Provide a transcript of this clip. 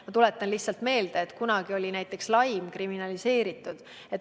Ma tuletan meelde, et kunagi oli näiteks laim kriminaliseeritud.